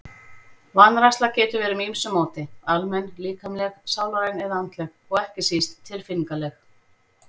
Vanræksla getur verið með ýmsu móti, almenn, líkamleg, sálræn eða andleg og ekki síst tilfinningaleg.